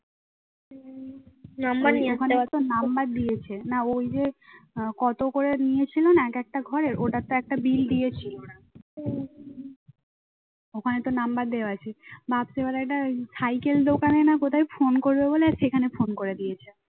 ওখানে তো number দেওয়া আছে। রাত্রিবেলা একটা সাইকেল দোকানে না কোথায় ফোন করবে বলে সেখানে ফোন করে দিয়েছে